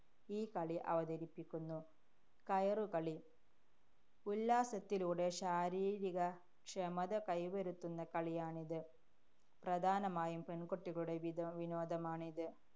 ഈ കളി അവതരിപ്പിക്കുന്നു. കയറുകളി. ഉല്ലാസത്തിലൂടെ ശാരീരികക്ഷമത കൈവരുത്തുന്ന കളിയാണിത്. പ്രധാനമായും പെണ്‍കുട്ടികളുടെ വിധ~ വിനോദമാണിത്.